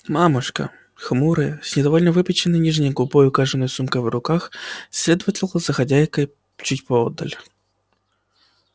мамушка хмурая с недовольно выпяченной нижней губой и кожаной сумкой в руках следовала за хозяйкой чуть поодаль